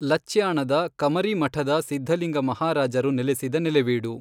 ಲಚ್ಯಾಣದ ಕಮರಿಮಠದ ಸಿದ್ಧಲಿಂಗ ಮಹಾರಾಜರು ನೆಲೆಸಿದ ನೆಲೆವೀಡು.